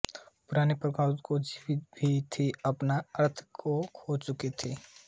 पुरानी परंपराएँ जो जीवित भी थीं अपना अर्थ खो चुकी थीं